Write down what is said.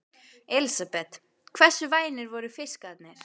Elísabet: Hversu vænir voru fiskarnir?